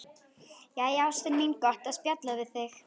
Jæja, ástin mín, gott að spjalla við þig.